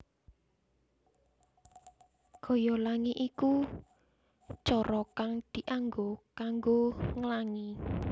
Gaya Langi ya iku cara kang dianggo kanggo nglangi